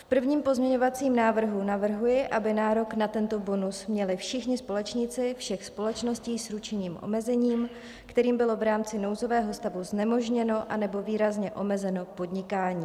V prvním pozměňovacím návrhu navrhuji, aby nárok na tento bonus měli všichni společníci všech společností s ručením omezeným, kterým bylo v rámci nouzového stavu znemožněno anebo výrazně omezeno podnikání.